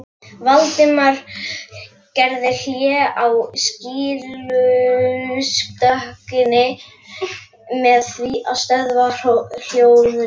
Valdimar gerði hlé á skýrslutökunni með því að stöðva hljóðritunina.